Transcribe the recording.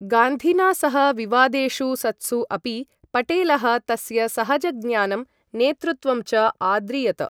गान्धिना सह विवादेषु सत्सु अपि, पटेलः तस्य सहजज्ञानं, नेतृत्वं च आद्रियत।